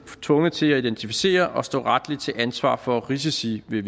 tvunget til at identificere og stå retligt til ansvar for risici ved